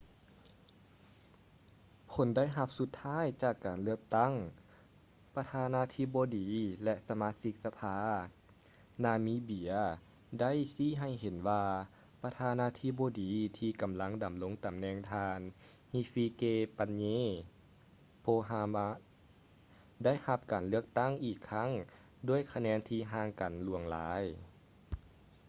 ຜົນໄດ້ຮັບສຸດທ້າຍຈາກການເລືອກຕັ້ງ ປະທານາທິບໍດີ ແລະ ສະມາຊິກສະພາ ນາມິເບຍ ໄດ້ຊີ້ໃຫ້ເຫັນວ່າ ປະທານາທິບໍດີທີ່ກຳລັງ ດຳລົງຕຳແໜ່ງ ທ່ານ hifikepunye pohamba ໄດ້ຮັບການເລືອກຕັ້ງອີກຄັ້ງ ດ້ວຍຄະແນນທີ່ຫ່າງກັນຫຼວງຫຼາຍ